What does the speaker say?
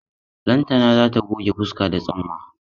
Lantana za ta goge fuska da tsumma.